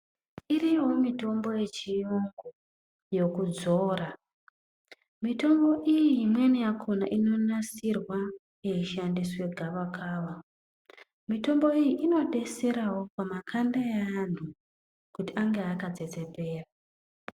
Iriyowo mitombo ye chiyungu yoku dzora mitombo iyi imweni yakona ino nasirwa yei shandiswe gava kava mitombo iyi ino detserawo pa makanda eantu kuti ange aka tsetsepera.